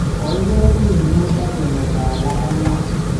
Kogiker biik muut ak ke meto alak ang'wan